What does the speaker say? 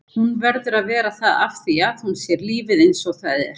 Hún verður að vera það afþvíað hún sér lífið einsog það er.